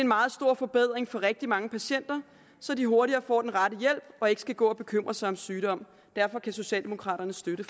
meget stor forbedring for rigtig mange patienter så de hurtigere får den rette hjælp og ikke skal gå og bekymre sig om sygdom derfor kan socialdemokraterne støtte